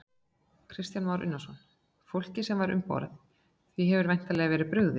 Kristján Már Unnarsson: Fólkið sem var um borð, því hefur væntanlega verið brugðið?